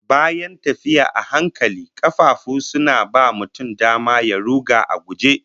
Bayan tafiya a hankali, kafafu suna ba mutum dama ya ruga a guje